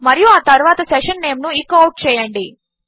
మరియు ఆ తరువాత సెషన్ నేమ్ ను ఎకో అవుట్ చేయండి